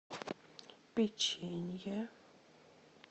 печенье